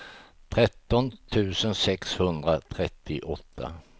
tretton tusen sexhundratrettioåtta